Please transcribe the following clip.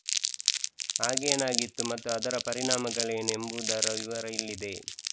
ಆಗೇನಾಗಿತ್ತು ಮತ್ತು ಅದರ ಪರಿಣಾಮಗಳೇನು ಎಂಬುದರ ವಿವರ ಇಲ್ಲಿದೆ